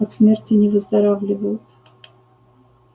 от смерти не выздоравливают